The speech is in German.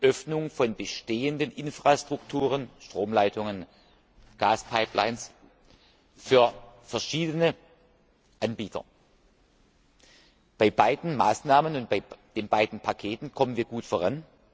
die Öffnung von bestehenden Infrastrukturen, Stromleitungen, Gaspipelines für verschiedene Anbieter. Bei beiden Maßnahmen und bei beiden Paketen kommen wir gut voran.